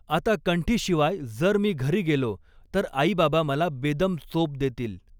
आता कंठीशिवाय जर मी घरी गेलो तर आईबाबा मला बेदम चोप देतील.